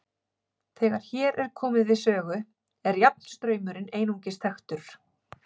Þegar hér er komið við sögu er jafnstraumurinn einungis þekktur.